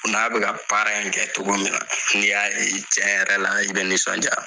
O n'a be ka ni baara in kɛ togo min na n'i y'a ye cɛn yɛrɛ la i be nisɔndiya